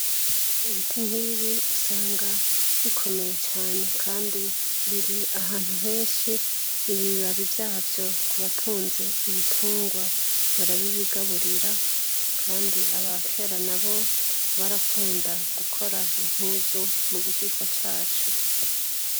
Ibiti nkibi usanga bikomeye cane kandi biri ahantu henshi nibibabi vyavyo kubatunze ibitunrwa barabibi gaburira kandi abakera nabo barakunda gukora impuzu mubishishwa caco